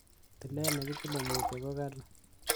Tilet nekitile mutyo ko kali.